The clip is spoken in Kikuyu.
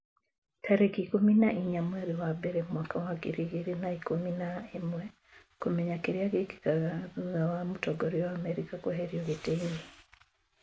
tarĩki ikũmi na inya mweri wa mbere mwaka wa ngiri igĩrĩ na ikũmi na ĩmweKũmenya kĩrĩa gĩkĩkaga thutha wa mũtongoria wa Amerika kũeherio gĩtĩ-inĩ